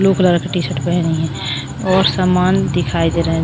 Blue colour का T-shirt पहनी है और सामान दिखाई दे रहा है।